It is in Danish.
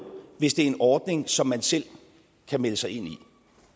hvis det er en ordning som man selv kan melde sig ind i